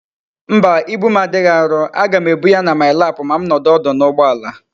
Mba, ibu m adighi aro, a gam ebu ya na my lap ma m nodu odu na ugboala